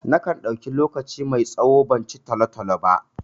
Na kan ɗauki lokaci mai tsawo ban ci talo-talo ba.